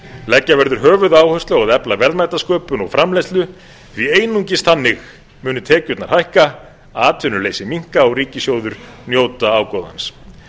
leggja verður höfuðáherslu á að efla verðmætasköpun og framleiðslu því einungis þannig munu tekjurnar hækka atvinnuleysi minnka og ríkissjóður njóta ágóðans